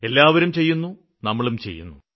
എല്ലാവരും ചെയ്യുന്നു നമ്മളും ചെയ്യുന്നു